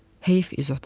Heyf İzota.